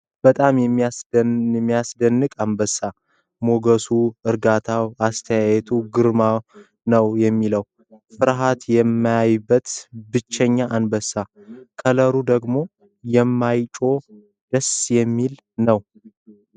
በጣም የሚያስደንቀኝ እንስሳ ፤ ሞገሱ ፣ እርጋታው ፣ አስተያየቱ ግርም ነው የሚለው ፤ ፍርኃት የማያየው ብቸኛው እንስሳ ፤ ከለሩ ደግሞ የማይጮ ደስ የሚል ነው።